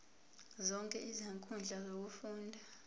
zonke izinkundla zokufunda